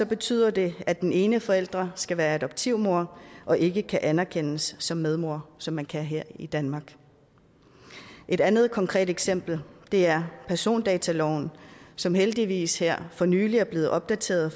betyder det at den ene forælder skal være adoptivmor og ikke kan anerkendes som medmor som man kan her i danmark et andet konkret eksempel er persondataloven som heldigvis her for nylig er blevet opdateret